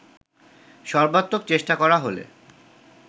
সর্বাত্মক চেষ্টা করা হলে